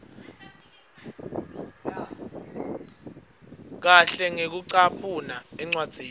kahle ngekucaphuna encwadzini